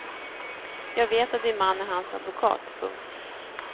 Jag vet att din man är hans advokat. punkt